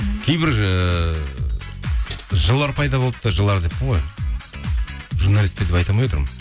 кейбір ііі ж лар пайда болды ж лар деппін ғой журналистер деп айта алмай отырмын